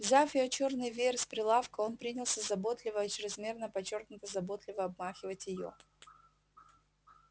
взяв её чёрный веер с прилавка он принялся заботливо о чрезмерно подчёркнуто заботливо обмахивать её